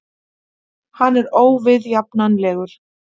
Hann er óviðjafnanlegur.